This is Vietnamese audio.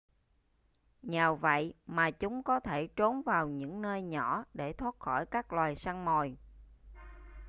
nhờ vậy mà chúng có thể trốn vào những nơi nhỏ để thoát khỏi các loài săn mồi